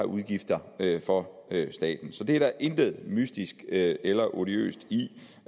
udgifter for staten så der er intet mystisk eller odiøst i